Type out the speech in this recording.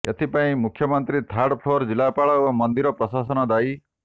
ଏଥିପାଇଁ ମୁଖ୍ୟମନ୍ତ୍ରୀ third floor ଜିଲ୍ଲାପାଳ ଓ ମନ୍ଦିର ପ୍ରଶାସନ ଦାୟୀ